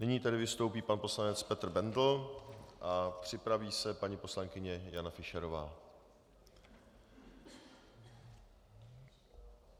Nyní tedy vystoupí pan poslanec Petr Bendl a připraví se paní poslankyně Jana Fischerová.